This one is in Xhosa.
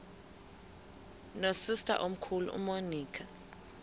nosister omkhulu umonica